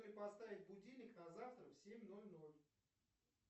поставить будильник на завтра в семь ноль ноль